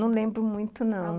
Não lembro muito não.